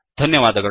ಧನ್ಯವಾದಗಳು